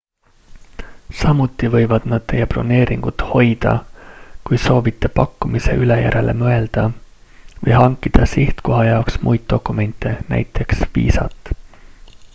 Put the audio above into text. samuti võivad nad teie broneeringut hoida kui soovite pakkumise üle järele mõelda või hankida sihtkoha jaoks muid dokumente nt viisat